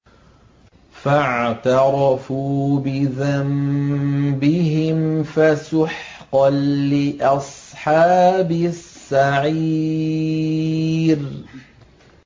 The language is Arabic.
فَاعْتَرَفُوا بِذَنبِهِمْ فَسُحْقًا لِّأَصْحَابِ السَّعِيرِ